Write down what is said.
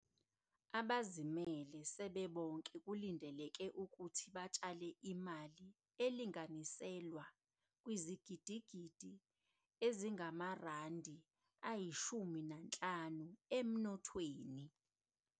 Abazimele sebebonke kulindeleke ukuthi batshale imali elinganiselwa kwizigidigidi ezingama-R50 emnothweni.